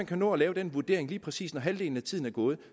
kan nå at lave den vurdering når lige præcis halvdelen af tiden er gået